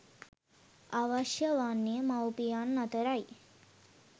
අවශ්‍ය වන්නේ මවුපියන් අතර යි.